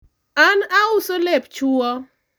an auso lep chuwo